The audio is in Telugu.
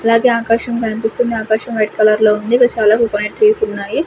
అలాగే ఆకాశం కనిపిస్తుంది ఆకాశం వైట్ కలర్ లో ఉంది చాలా కోకోనట్ ట్రీస్ ఉన్నాయి.